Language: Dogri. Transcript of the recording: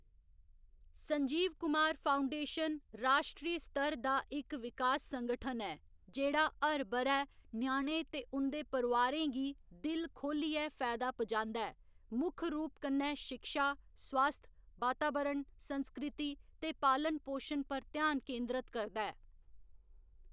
संजीव कुमार फाउंडेशन राश्ट्री स्तर दा इक विकास संगठन ऐ, जेह्‌‌ड़ा हर ब'रै ञ्याणें ते उं'दे परोआरें गी दिल खो‌ह्‌ल्लियै फैदा पुजांदा ऐ, मुक्ख रूप कन्नै शिक्षा, स्वास्थ, बातावरण, संस्कृति ते पालन पोशन पर ध्यान केंद्रत करदा ऐ।